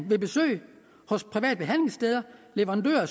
med besøg hos private behandlingssteder og leverandører